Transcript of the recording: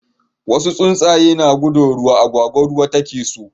wasu tsuntsu na guduwan ruwa, agwagwa ruwa ta ke nema